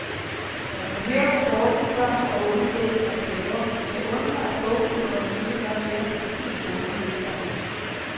Når man hører, hvor dårligt børn og unge læser og staver, kan det undre, at bogklubberne ikke gør mere for de helt unge læsere.